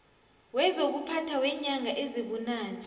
wezokuphatha weenyanga ezibunane